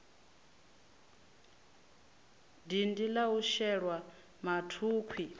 dindi la u shelwa mathukhwi